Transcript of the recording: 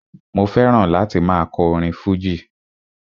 Mo fẹ́ràn láti máa kọ orin fújì